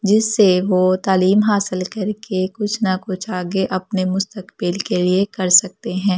जिससे वो तालीम हासिल करके कुछ न कुछ आगे अपने मुस्तकबिल के लिए कर सकते हैं अब --